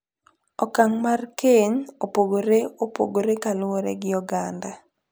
Okang' mar keny opogore opogore kaluwore gi oganda ,.